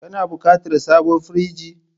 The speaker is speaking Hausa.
Kana buƙatar sabon firinji?